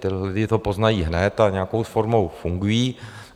Ti lidé to poznají hned a nějakou formou fungují.